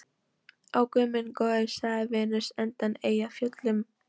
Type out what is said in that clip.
Ó, guð minn góður, sagði Venus undan Eyjafjöllum.